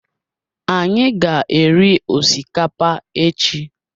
Anyị ga-eri osikapa echi